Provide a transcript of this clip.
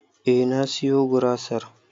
Eh na siyo gurasar